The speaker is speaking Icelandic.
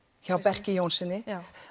hjá Berki Jónssyni